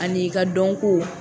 Ani i ka dɔnko.